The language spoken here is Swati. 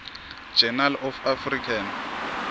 journal of african